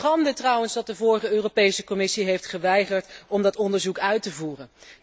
Het is een schande trouwens dat de vorige Europese Commissie heeft geweigerd om dat onderzoek uit te voeren.